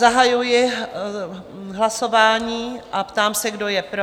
Zahajuji hlasování a ptám se, kdo je pro?